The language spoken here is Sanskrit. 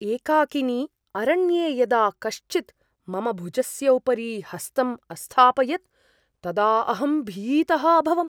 एकाकिनि अरण्ये यदा कश्चित् मम भुजस्य उपरि हस्तम् अस्थापयत् तदा अहं भीतः अभवम्।